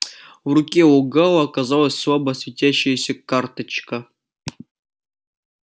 в руке у гаала оказалась слабо светящаяся карточка